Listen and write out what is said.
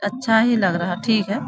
अच्छा ही लग रहा है ठीक है।